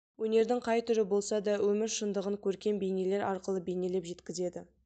өнердің қай түрі болса да өмір шындығын көркем бейнелер арқылы бейнелеп жеткізеді